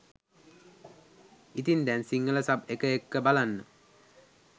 ඉතින් දැන් සිංහල සබ් එක එක්ක බලන්න